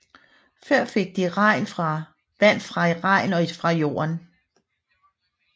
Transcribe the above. Før fik de vand fra regn og fra jorden